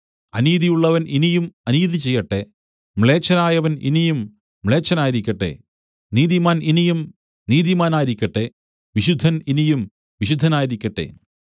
അനീതിയുള്ളവൻ ഇനിയും അനീതി ചെയ്യട്ടെ മ്ലേച്ഛനായവൻ ഇനിയും മ്ലേച്ഛനായിരിക്കട്ടെ നീതിമാൻ ഇനിയും നീതിമാനായിരിക്കട്ടെ വിശുദ്ധൻ ഇനിയും വിശുദ്ധനായിരിക്കട്ടെ